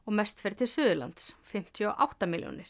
mest fer til Suðurlands fimmtíu og átta milljónir